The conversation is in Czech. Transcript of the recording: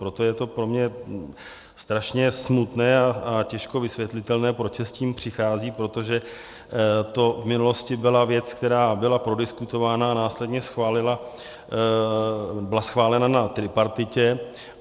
Proto je to pro mě strašně smutné a těžko vysvětlitelné, proč se s tím přichází, protože to v minulosti byla věc, která byla prodiskutována a následně byla schválena na tripartitě.